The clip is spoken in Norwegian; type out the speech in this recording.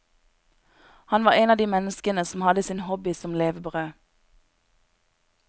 Han var en av de menneskene som hadde sin hobby som levebrød.